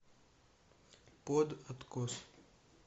под откос